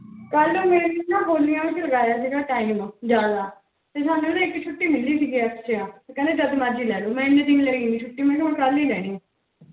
ਕਲ ਮੇਰੀ ਨਾ ਹੋਲੀ ਵਾਲੀਆਂ ਚ ਲਗਾਯਾ ਸੀਗਾ time ਜਿਆਦਾ ਤੇ ਹੁਣ ਵੀ ਇਕ ਛੁਟੀ ਮਿਲੀ ਸੀਗੀ ਚ ਆ ਤੇ ਕੇਹਿੰਦੇ ਜਦੋਂ ਮਰਜ਼ੀ ਲੈਲੋ ਛੁਟੀ ਲੇ ਲੋ ਮੈਂ ਏਨੇ ਦਿਨ ਲੈ ਨਾਈ ਛੁਟੀ ਮੇਨੂ ਹਨ ਕਲ ਈ ਲਾਨੀ ਆ